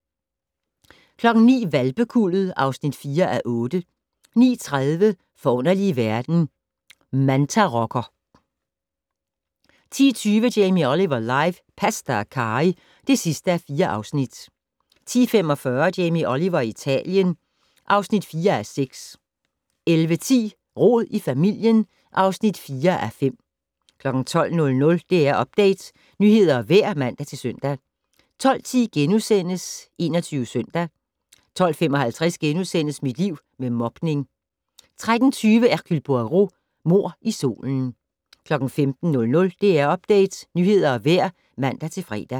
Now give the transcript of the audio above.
09:00: Hvalpekuldet (4:8) 09:30: Forunderlige verden - mantarokker 10:20: Jamie Oliver live - pasta og carry (4:4) 10:45: Jamie Oliver i Italien (4:6) 11:10: Rod i familien (4:5) 12:00: DR Update - nyheder og vejr (man-søn) 12:10: 21 Søndag * 12:55: Mit liv med mobning * 13:20: Hercule Poirot: Mord i solen 15:00: DR Update - nyheder og vejr (man-fre)